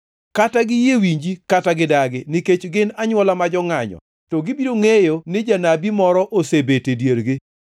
Kata giyie winji kata gidagi, nikech gin anywola ma jongʼanyo, to gibiro ngʼeyo ni janabi moro osebet e diergi.